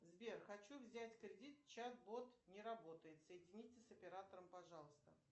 сбер хочу взять кредит чат бот не работает соедините с оператором пожалуйста